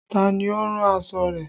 Ta ni ó rán aṣọ rẹ?